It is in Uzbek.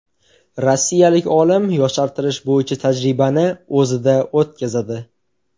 Rossiyalik olim yoshartirish bo‘yicha tajribani o‘zida o‘tkazadi.